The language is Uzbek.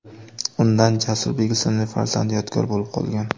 Undan Jasurbek ismli farzand yodgor bo‘lib qolgan.